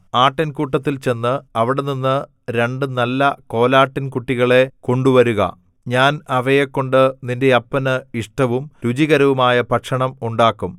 ആട്ടിൻകൂട്ടത്തിൽ ചെന്ന് അവിടെനിന്ന് രണ്ടു നല്ല കോലാട്ടിൻകുട്ടികളെ കൊണ്ടുവരുക ഞാൻ അവയെക്കൊണ്ട് നിന്റെ അപ്പന് ഇഷ്ടവും രുചികരവുമായ ഭക്ഷണം ഉണ്ടാക്കും